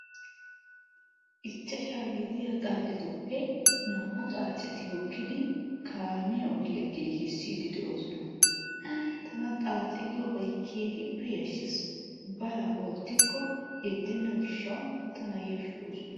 Ichchashaa gidiya xaacetupe naa"u xaaceti hokkidi kaamiya ogiya giigisidi de"oosona. Tana xaace giyobay keehippe yashshes. Balaa oottikko yeddenna gishshaw tana yashshoosona.